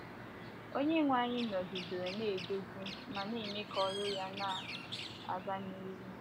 Onyenwe anyị nọgidere na - eduzi ma na - eme ka ọrụ ya na - aga n’ihu.